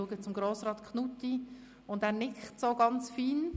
Ich schaue zu Grossrat Knutti, und er nickt ganz fein.